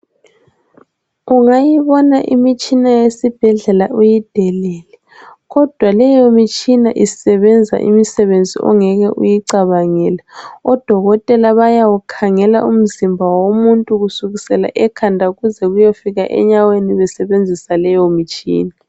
Ungayibona imitshina yesibhedlela uyidelele kodwa leyo mitshina isebenzisa imisebenzi ongeke uyicabangele odokotela bawukhangela umzimba womuntu kusukela ekhanda kuze kuye fika enyaweni besebenzisa leyo mitshina